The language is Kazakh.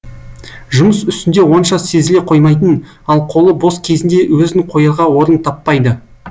жұмыс үстінде онша сезіле қоймайтын ал қолы бос кезінде өзін қоярға орын таппайды